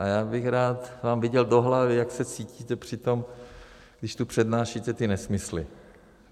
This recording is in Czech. A já bych rád vám viděl do hlavy, jak se cítíte při tom, když tu přednášíte ty nesmysly.